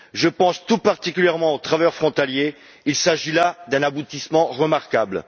Je pense tout particulièrement aux travailleurs frontaliers, il s'agit là d'un aboutissement remarquable.